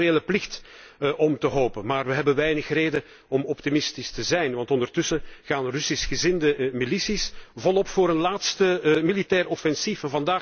Het is onze morele plicht om te hopen, maar we hebben weinig reden om optimistisch te zijn, want ondertussen gaan Russisch gezinde milities volop voor een laatste militair offensief.